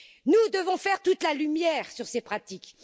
Nous devons faire toute la lumière sur ces pratiques.